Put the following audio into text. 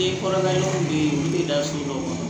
I kɔrɔla i bɛ da so dɔ kɔnɔ